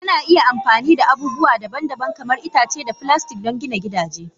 Ana iya amfani da abubuwa daban-daban kamar itace da filastik don gina gidaje.